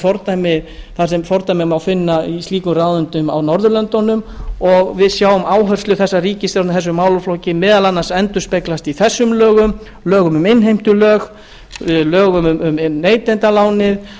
neytendaráðuneyti þar sem fordæmi má finna í slíkum ráðuneytum á norðurlöndunum og við sjáum áherslu þessarar ríkissjtórnar í þessum málaflokki meðal annars endurspeglast í þessum lögum lögum um innheimtulög lögum um neytendalánin